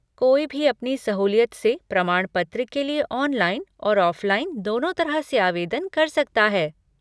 कोई भी अपनी सहूलियत से प्रमाण पत्र के लिए ऑनलाइन और ऑफ़लाइन दोनों तरह से आवेदन कर सकता है।